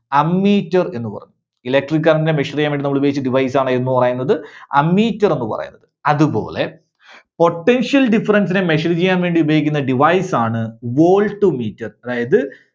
ammeter എന്ന് പറഞ്ഞു. Electric current നെ measure ചെയ്യാൻ വേണ്ടി നമ്മള് ഉപയോഗിച്ച device ആണ് ഏതെന്ന് പറയുന്നത് ammeter എന്ന് പറയുന്നത്. അതുപോലെ potential difference നെ measure ചെയ്യാൻ വേണ്ടി ഉപയോഗിക്കുന്ന device ആണ് voltmeter. അതായത്